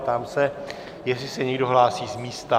Ptám se, jestli se někdo hlásí z místa